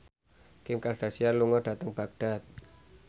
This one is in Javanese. Kim Kardashian lunga dhateng Baghdad